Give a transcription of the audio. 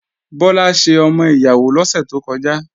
Bọ́lá ṣe ọmọ ìyàwó lọ́sẹ̀ tó kọjá